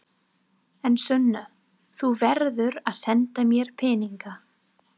En Sunna, þú verður að senda mér peninga.